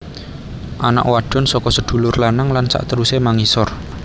Anak wadon saka sedulur lanang lan sakterusé mangisor